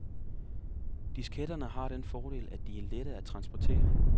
Disketterne har den fordel, at de er lette at transportere.